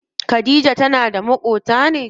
Khadija tana maƙota ne?